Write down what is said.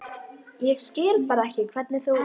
Ég skil bara ekki hvernig þú.